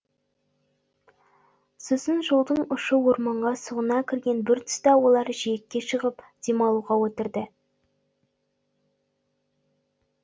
сосын жолдың ұшы орманға сұғына кірген бір тұста олар жиекке шығып демалуға отырды